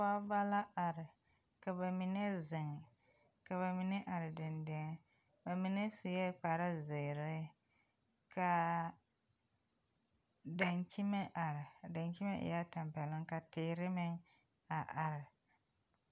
Pɔɔbɔ la are ka ba mine zeŋ ka ba mine are deŋ deŋ ba mine suee kparezeere kaa daŋkyime are a daŋkyime eɛɛ tampɛloŋ ka teere meŋ a are.